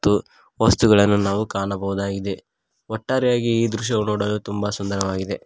ತು ವಸ್ತುಗಳನ್ನು ನಾವು ಕಾಣಬಹುದಾಗಿದೆ ಒಟ್ಟಾರೆಯಾಗಿ ಈ ದೃಶ್ಯವು ನೋಡಲು ತುಂಬ ಸುಂದರವಾಗಿದೆ.